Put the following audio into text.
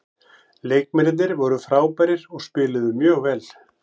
Leikmennirnir voru frábærir og spiluðu mjög vel.